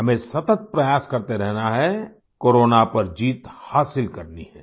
हमें सतत प्रयास करते रहना है कोरोना पर जीत हासिल करनी है